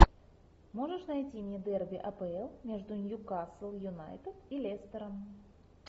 можешь найти мне дерби апл между ньюкасл юнайтед и лестером